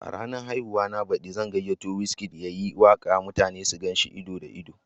A ranar haihuwa na baɗi zan gayyato Wizkid ya yi waka mutane su gan shi ido da ido.